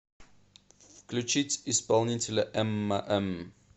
включить исполнителя эмма м